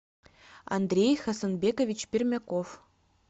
андрей хасанбекович пермяков